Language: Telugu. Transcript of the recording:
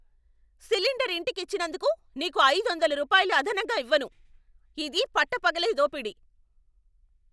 సిలిండర్ ఇంటికి ఇచ్చినందుకు నీకు ఐదొందల రూపాయలు అదనంగా ఇవ్వను. ఇది పట్టపగలే దోపిడి!